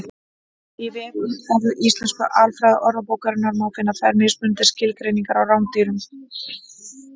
Í vefútgáfu Íslensku alfræðiorðabókarinnar má finna tvær mismunandi skilgreiningar á rándýrum.